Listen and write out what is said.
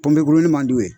Pɔnpe man d'u ye